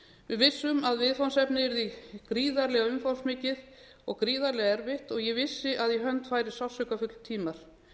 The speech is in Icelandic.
við vissum að viðfangsefnið yrði gríðarlega umfangsmikið og gríðarlega erfitt ég vissi að í hönd færi sársaukafullir tímar